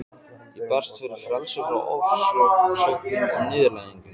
Ég berst fyrir frelsi frá ofsóknum og niðurlægingu.